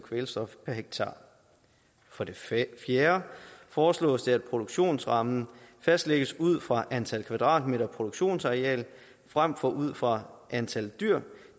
kvælstof per hektar for det fjerde foreslås det at produktionsrammen fastlægges ud fra antal kvadratmeter produktionsareal frem for ud fra antal dyr